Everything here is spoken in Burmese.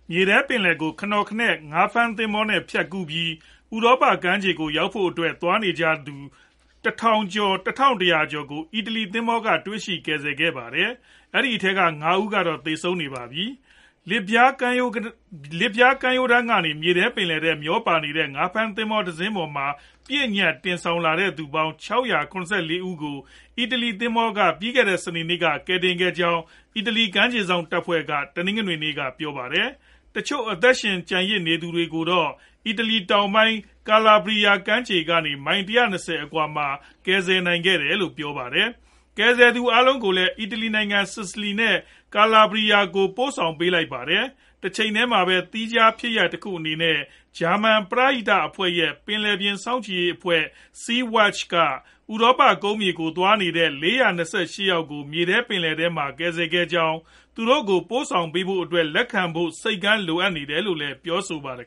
မြေထဲပင်လယ်ကို ခနော်ခနဲ့ ငါးဖမ်း သင်္ဘောနဲ့ ဖြတ်ကူးပြီး ဥရောပ ကမ်းခြေဖက်ကို ရောက်ဖို့အတွက် သွားနေကြတဲ့သူ တထောင် တရာကျော်ကို အီတလီ သင်္ဘောတွေက တွေ့ရှိကယ်ဆယ်ခဲ့ကြပါတယ်။ အဲဒီအထဲမှာ ၅ ဦးကတော့ သေဆုံးနေပါတယ်။ လစ်ဗျားကမ်းရိုးတန်း ကနေ မြေထဲပင်လယ်ထဲ မျောပါနေတဲ့ ငါးဖမ်းသင်္ဘောတစင်းပေါ်မှာ ပြည့်ညပ်တင်လာကြတဲသူပေါင်း ၆၇၄ ဦးကို အီတလီသင်္ဘောတွေက ပြီးခဲ့တဲ့ စနေနေ့က ကယ်တင်ခဲ့ကြောင်း အီတလီကမ်းခြေစောင့်တပ်ဖွဲ့က တနင်္ဂနွေနေ့က ပြောပါတယ်။ တချို့ အသက်ရှင်ကျန်ရစ်သူတွေကိုတော့ အီတလီတောင်ပိုင်း Calabria ကမ်းခြေကနေ မိုင် ၁၂ဝအကွာမှာ ကယ်ဆယ်နိုင်ခဲ့တယ်လို့ ပြောပါတယ်။ ကယ်ဆယ်ခဲ့သူအားလုံးကိုလည်း အီတလီနိုင်ငံ Sicily နဲ့ Calabria တို့ကို ပိုဆောင်လိုက်ပါတယ်။ တချိန်တည်းမှာပဲ သီးခြားဖြစ်ရပ်တခုအနေနဲ့ ဂျာမန် ပရဟိတအဖွဲ့ရဲ့ ပင်လယ်ပြင် စောင့်ကြည့်ရေးအဖွဲ့ Sea - Watch က ဥရောပကုန်းမြေဖက်ကို သွားရောက်နေတဲ့သူ ၄၂၈ ယောက်ကို မြေထဲပင်လယ်အတွင်းမှာ ကယ်ဆယ်ခဲ့ကြောင်းနဲ့ သူတို့ကို ပိုဆောင်ပေးဖို့အတွက် လက်ခံမယ့် ဆိပ်ကမ်းလိုအပ်တယ်လို့ပြောပါတယ်